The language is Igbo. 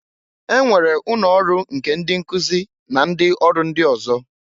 E nwere ụnọ ọrụ nke ndị nkụzị na ndị ọrụ ndị ọzọ.